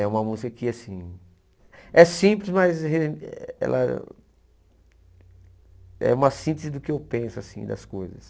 É uma música que assim é simples, mas ela é uma síntese do que eu penso assim das coisas.